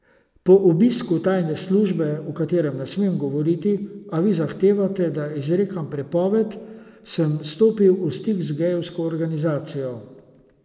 Po obisku tajne službe, o katerem ne smem govoriti, a vi zahtevate, da izrekam prepovedi, sem stopil v stik z gejevsko organizacijo.